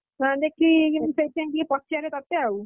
ଅ ଦେଖି ସେଇଥିପାଇଁ ଟିକେ ପଚାରେ ତତେ ଆଉ